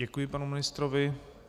Děkuji panu ministrovi.